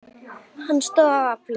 Hann stóðst það afl.